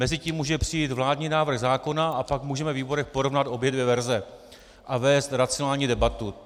Mezitím může přijít vládní návrh zákona a pak můžeme ve výborech porovnat obě dvě verze a vést racionální debatu.